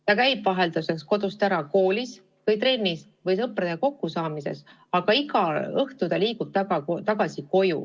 Ta käib vahelduseks kodust ära, koolis või trennis või sõpradega kokku saamas, aga õhtul läheb ta koju tagasi.